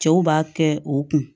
Cɛw b'a kɛ o kun